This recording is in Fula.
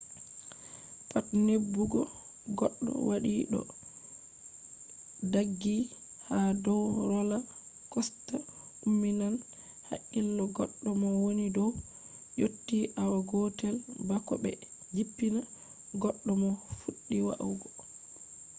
pat neɓugo goɗɗo waɗi ɗo ɗaggi ha dow rola kosta umminan hakkilo goɗɗo mo woni dow yotti awa gotel bako ɓe jippina goɗɗo mo fuɗɗi wa’ugo